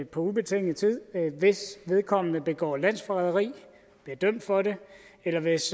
på ubestemt tid hvis vedkommende begår landsforræderi bliver dømt for det eller hvis